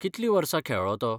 कितलीं वर्सां खेळ्ळो तो?